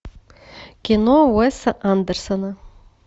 кино уэса андерсона